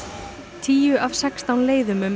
tíu af sextán leiðum um